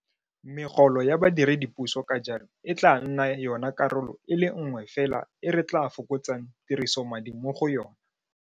Megolo ya badiredipuso ka jalo e tla nna yona karolo e le nngwe fela e re tla fokotsang tirisomadi mo go yona.